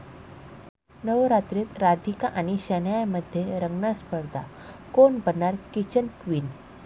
नवरात्रीत राधिका आणि शनायामध्ये रंगणार स्पर्धा, कोण बनणार किचन क्वीन?